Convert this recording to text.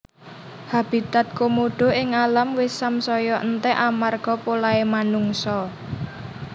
Habitat Komodo ing alam wis samsaya entek amarga polahe manungsa